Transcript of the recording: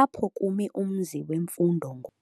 apho kumi umzi wemfundo ngoku.